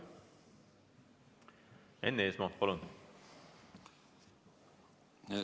Enn Eesmaa, palun!